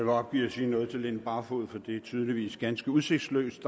opgive at sige noget til fru line barfod for det er tydeligvis ganske udsigtsløst